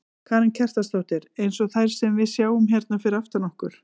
Karen Kjartansdóttir: Eins og þær sem við sjáum hérna fyrir aftan okkur?